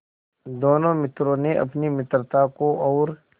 दोनों मित्रों ने अपनी मित्रता को और